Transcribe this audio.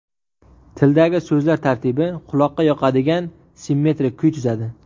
Tildagi so‘zlar tartibi quloqqa yoqadigan simmetrik kuy tuzadi.